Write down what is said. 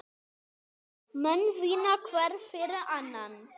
Menn vinna hver fyrir annan.